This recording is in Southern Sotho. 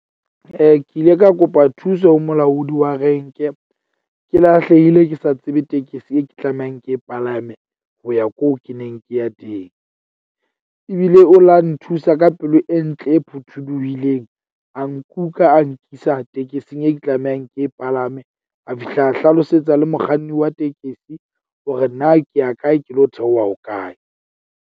Ke ile ka kopa thuso ho molaodi wa renke. Ke lahlehile ke sa tsebe tekesi e ke tlamehang ke e palame ho ya ko ke neng ke ya teng. Ebile o la nthusa ka pelo e ntle e phuthuluhileng. A nkuka a nkisa tekesing eo ke tlamehang ke e palame. A fihla a hlalosetsa le mokganni wa tekesi hore na ke ya kae, ke lo theoha ho kae.